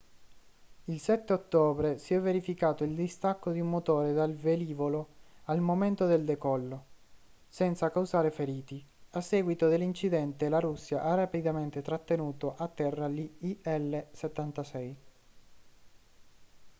il 7 ottobre si è verificato il distacco di un motore dal velivolo al momento del decollo senza causare feriti a seguito dell'incidente la russia ha rapidamente trattenuto a terra gli il-76